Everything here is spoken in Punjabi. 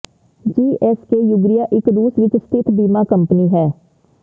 ਜੀ ਐਸ ਕੇ ਯੂਗਰੀਆ ਇਕ ਰੂਸ ਵਿਚ ਸਥਿਤ ਬੀਮਾ ਕੰਪਨੀ ਹੈ